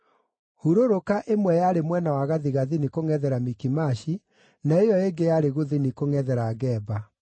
Hurũrũka ĩmwe yarĩ mwena wa gathigathini kũngʼethera Mikimashi, na ĩyo ĩngĩ yarĩ gũthini kũngʼethera Geba.